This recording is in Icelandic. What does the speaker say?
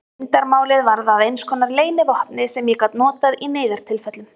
Leyndarmálið varð að einskonar leynivopni sem ég gat notað í neyðartilfellum.